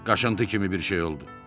Qaşıntı kimi bir şey oldu.